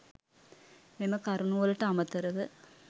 මෙම කරුණු වලට අමතරව